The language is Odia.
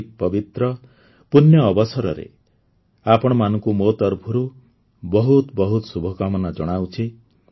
ଏହି ପବିତ୍ର ପୁଣ୍ୟ ଅବସରରେ ଆପଣମାନଙ୍କୁ ମୋ ତରଫରୁ ବହୁତ ବହୁତ ଶୁଭକାମନା ଜଣାଉଛି